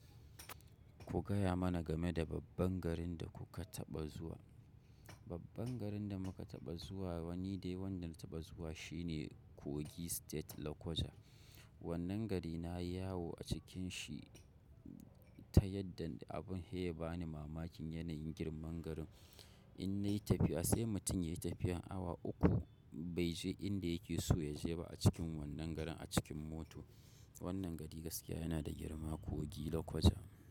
Ku gaya mana game da babban garin da kuka taɓa zuwa. Babban garin da muka taɓa zuwa wani dai wanda na taɓa zuwa shine Kogi State Lokoja. Wannan gari nayi yawo a cikin shi ta yadda abun heya bani mamakin yanayin girman garin. In na yi tafiya sai mutum ya yi tafiyar awa uku bai je inda yake so ya je ba a cikin wannan garin a cikin moto. Wannan gari gaskiya yana da girma Kogi Lokoja.